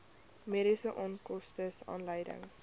mediese onkoste aanleiding